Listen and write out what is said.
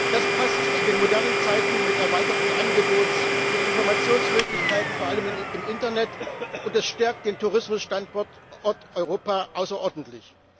Das passt zu den modernen Zeiten mit erweiterten Angebots und Informationsmöglichkeiten, vor allem im Internet, und es stärkt den Tourismusstandort Europa außerordentlich.